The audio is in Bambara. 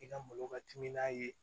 I ka malo ka timinan ye